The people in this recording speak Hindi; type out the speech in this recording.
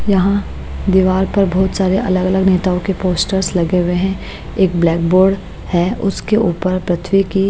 यहाँ दीवार पर बहुत सारे अलग-अलग नेताओं के पोस्टर्स लगे हुए हैं एक ब्लैक बोर्ड है उसके ऊपर पृथ्वी की--